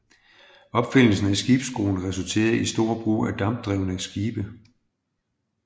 Opfindelsen af skibsskruen resulterede i stor brug af dampdrevne skibe